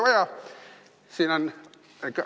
Ai!